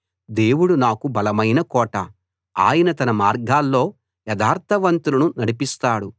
దేవుడు నాకు బలమైన కోట ఆయన తన మార్గాల్లో యథార్థవంతులను నడిపిస్తాడు